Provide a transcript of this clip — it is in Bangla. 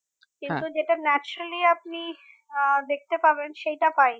কিন্তু যেটা naturally আপনি আহ দেখতে পাবেন সেইটা পাইনি